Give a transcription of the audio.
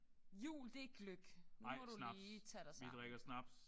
Jul det er gløgg. Nu må du lige tage dig sammen